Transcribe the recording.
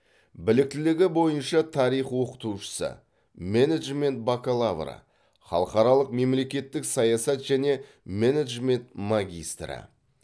біліктілігі бойынша тарих оқытушысы менеджмент бакалавры халықаралық мемлекеттік саясат және менеджмент магистрі